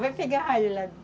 Vai pegar ralho lá.